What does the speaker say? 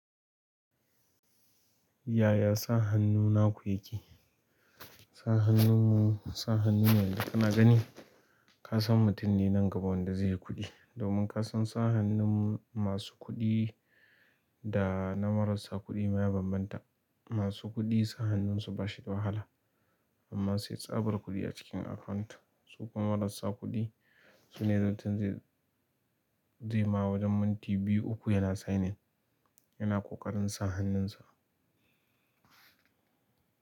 Yaya sa hannu naku yake? Sa hannunmu, sa hannunmu na gani kasan mutum ne nan gaba wanda zai yi kuɗi. Domin ka san sa hannun masu kuɗi da na marasa kuɗi maya bambanta. Masu kuɗi sa hannunsu ba shi da wahala amma sai tsabar kuɗi a cikin account. Su kuma marasa kuɗi su ne mutum zai ma wajen minti biyu uku yana signing yana ƙoƙarin sa hannunsa.